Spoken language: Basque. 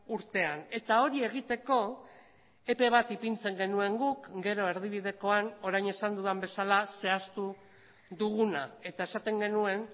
urtean eta hori egiteko epe bat ipintzen genuen guk gero erdibidekoan orain esan dudan bezala zehaztu duguna eta esaten genuen